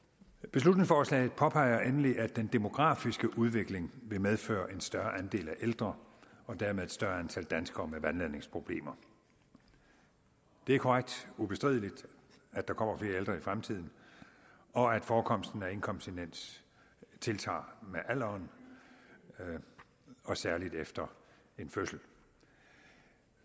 beslutningsforslaget påpeger endelig at den demografiske udvikling vil medføre en større andel af ældre og dermed et større antal danskere med vandladningsproblemer det er korrekt ubestrideligt at der kommer flere ældre i fremtiden og at forekomsten af inkontinens tiltager med alderen og særlig efter en fødsel